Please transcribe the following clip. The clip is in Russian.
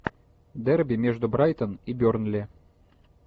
дерби между брайтон и бернли